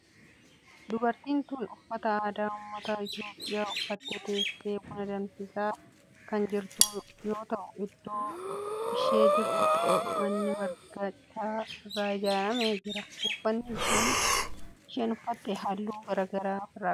Dubartiin tun uffata aadaa ummata Itiyoophiyaa uffattee teessee buna danfisaa kan jirtu yoo ta'u iddoo ishee jirtu duuba manni marga citaa irraa ijaarame jira. uffanni isheen uffatte halluu garaa garaa of irraa qaba.